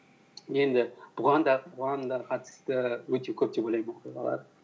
енді бұған да қатысты өте көп деп ойлаймын оқиғалар